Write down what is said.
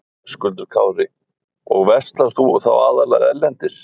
Höskuldur Kári: Og verslar þú þá aðallega erlendis?